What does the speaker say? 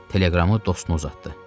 Teleqramı dostuna uzatdı.